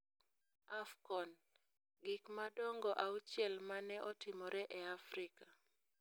AFCON: Gik madongo auchiel ma ne otimore e Afrika